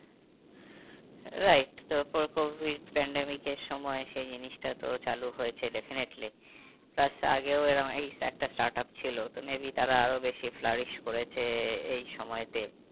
Right তারপর covid pandemic এর সময় সেই জিনিসটা তো চালু হয়েছে definitely আগেও এই একটা startup ছিল তো maybe তারা আরো বেশি করেছে এই সময়েতে।